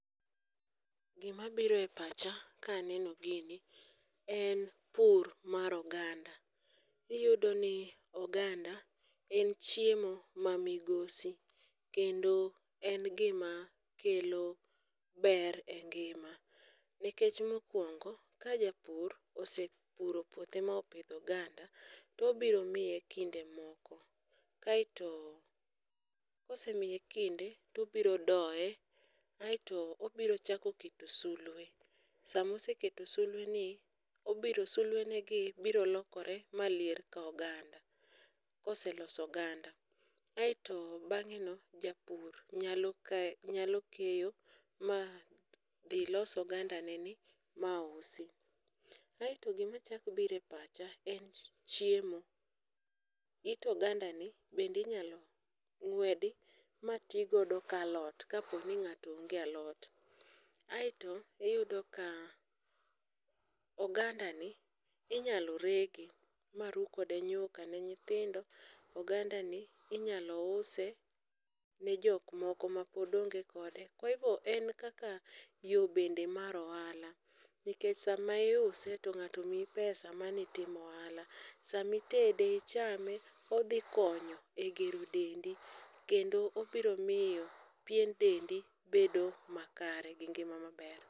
gimabiro e pacha kaneno gini en pur mar oganda, iyudoni oganda en chiemo mamigosi kendo en gima kelo ber e ngima ,nikech mokwongo ka japur osepuro puothe mopidho oganda, tobiro miye kinde moko, kaeto kosemiye kinde tobiro doye kaeto obiro chako keto sulwe, samoseketo sulweni, sulwenegi biro lokore malier ka oganda koseloso oganda, aeto bang'eno japur nyalo keyo ma dhi los oganda neni ma usi. aeto gimachako biro e pacha en chiemo, it ogandani bende inyalo ng'wedi ma ti godo ka alot, aeto iyudo ka ogandani inyalo rege ma ru kode nyuka ne nyithindo, ogandani inyalo use ne jok moko mapod onge kode, kwa hivyo en kaka yo bende mar ohala ,nikech sama iuse to ng'ato omiyi pesa mano itimo ohala, sama itede ichame odhi konyo egero dendi kendo obiro miyo pien dendi bedo makare gi ngima maber.